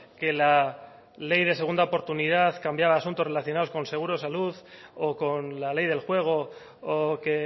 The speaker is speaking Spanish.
que la ley de segunda oportunidad cambiaba asuntos relacionados con seguros de salud o con la ley del juego o que